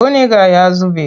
Buniga ya zube.